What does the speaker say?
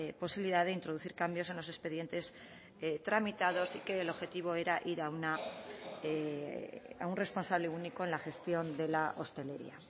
posibilidad de introducir cambios en los expedientes tramitados y que el objetivo era ir a un responsable único en la gestión de la hostelería